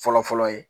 Fɔlɔ fɔlɔ ye